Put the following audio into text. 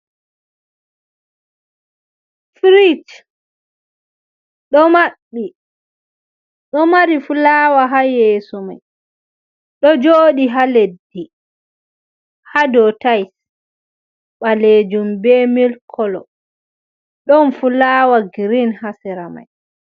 Firich ɗo maɓɓi, ɗo mari fulawa ha yeso mai, ɗo joɗi haa leddi haa do tais balejum be mil kolo, ɗon fulawa girin haa sera mai.